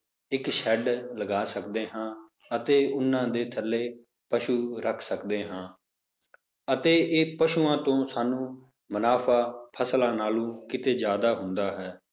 ਇੱਕ shed ਲਗਾ ਸਕਦੇ ਹਾਂ ਅਤੇ ਉਹਨਾਂ ਦੇ ਥੱਲੇ ਪਸੂ ਰੱਖ ਸਕਦੇ ਹਾਂ ਅਤੇ ਇਹ ਪਸੂਆਂ ਤੋਂ ਸਾਨੂੰ ਮੁਨਾਫ਼ਾ ਫਸਲਾਂ ਨਾਲੋਂ ਕਿਤੇ ਜ਼ਿਆਦਾ ਹੁੰਦਾ ਹੈ